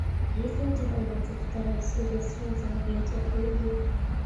есть ли у тебя двадцать вторая серия солнце в объятиях луны